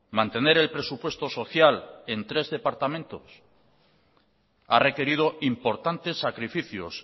mantener el presupuesto social en tres departamentos ha requerido importantes sacrificios